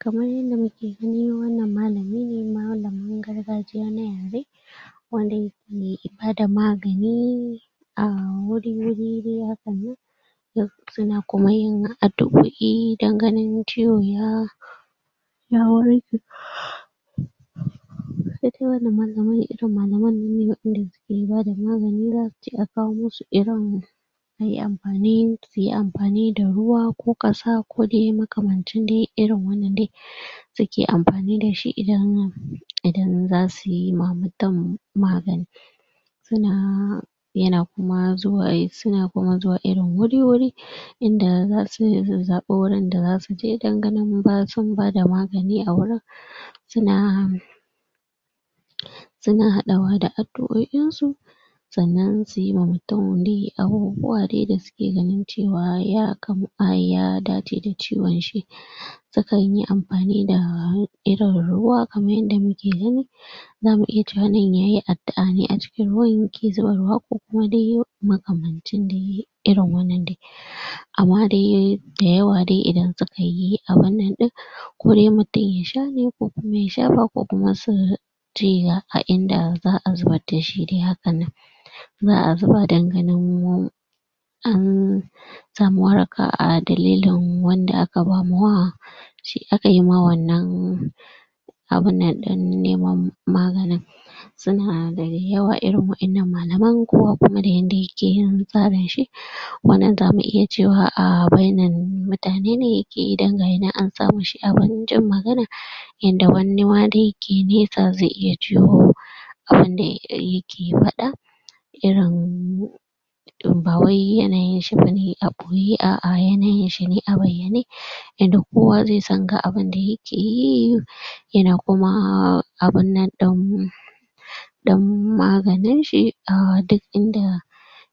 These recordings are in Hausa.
kamar yanda muke gani wannan malamine malamin na gaargajiya na yare kwarai me bada magani a wuri wuri wuri hakannan ea don ganin ciwon ya ya warke saide wannan malamin irin malaman wayanda be bada magani ba sai an kawo musu irin ayi amfani suyi amfanida ruwa ko kasa kode makamancin de irin wanan de um suke amfani dashi idan zasuyi wa mutum magani suna yana kuma zuwa yana ku zuwa irin wuri wuri inda yasan inda zasu zabo inda zasuje don ganin sun bada magani a wurin suna suna adawada addu'oin su sa'anan suyi wa mutum de abubuwan dai ganin cewa ya kan ya dace da ciwon shi sukanyi amfani da irin ruwa kamar yanda muke gani zamu iya cewa nan yayi addu'a ne a cikin ruwan ya zuba ruwa de koko makamanci de irin wannan de um amma de dayawa de idan sukayi abinnan din saide mutum ya shane kokuma ya shafa kokuma a inda za'a zubar dashi de hakannan ann samu waraka a dalilin wanda aka bama wa shi akayima wannan abin nan din neman magani inda malaman kowa kuma da yanda yakeyin tsarin shi wannan zamu iya cewa a bainar mutane ne indai gayi nan an sawoshi awurin jin magana inda wanima daya ke nesa ze iya jiyuwa abunda ai dayake fada irin bawai yanayinshi bane abu anyishine a bayyane yanda kowa zesan ga abunda yake yi um yana kuma abunnan din dan maganinshi a duk inda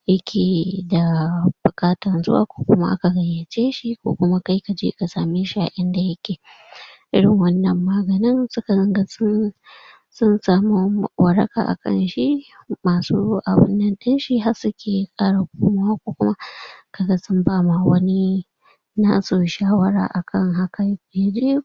yake da bukatan zuwa kokuma aka gayyaceshi ko kuma kai kaje kasameshi a inda yaake irin wannan maaganin sun samu waraka a kanshi masu abinnan dinshi harsu ki kara komawa kokuma um kaga sun bama wani nasu shawara akan haka um